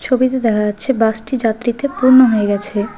ছবিতে দেখা যাচ্ছে বাসটি যাত্রীতে পূর্ণ হয়ে গেছে।